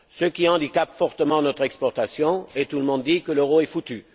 Cela handicape fortement notre exportation et tout le monde dit que l'euro est foutu.